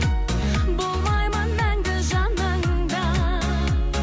болмаймын мәңгі жаныңда